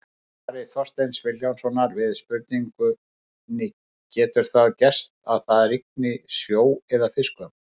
Í svari Þorsteins Vilhjálmssonar við spurningunni Getur það gerst að það rigni sjó eða fiskum?